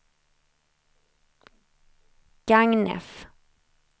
Gagnef